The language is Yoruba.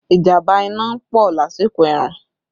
Ìjàmbá iná ń pọ̀ lásìkò ẹ̀rùn